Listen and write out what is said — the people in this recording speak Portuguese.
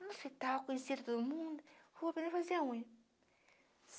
no hospital, conhecia todo mundo, vou poder fazer a unha.